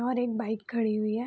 और एक बाइक खड़ी हुई है।